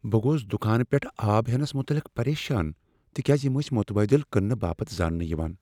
بہٕ گوس دُکانہٕ پیٹھہٕ آب ہینس متعلق پریشان تكیازِ یِم ٲسۍ متبادِل كننہٕ باپت زاننہٕ یوان ۔